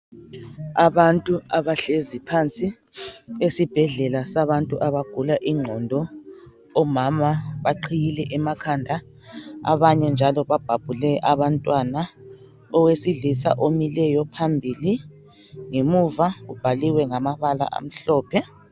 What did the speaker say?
Abantu abahlezi phansi esibhedlela sabantu abagula ingqondo, omama baqhiyile emakhanda abanye njalo babhabhule abantwana owesilisa omileyo phambili ngemuva kubhaliwe ngamabala amhlophe